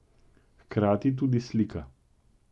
Hkrati tudi slika.